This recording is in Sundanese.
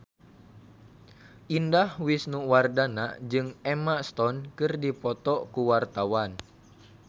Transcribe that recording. Indah Wisnuwardana jeung Emma Stone keur dipoto ku wartawan